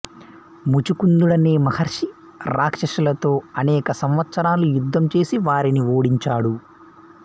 ముచుకుందుడనే మహర్షి రాక్షసులతో అనేక సంవత్సరాలు యుద్ధం చేసి వారిని ఓడించాడు